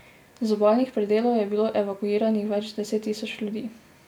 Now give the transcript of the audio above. Z obalnih predelov je bilo evakuiranih več deset tisoč ljudi.